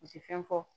U ti fɛn fɔ